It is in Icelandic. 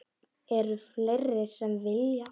Eru fleiri sem vilja?